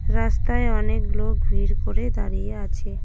রাস্তায় অনেক লোক ভিড় করে দাড়িয়ে আছে।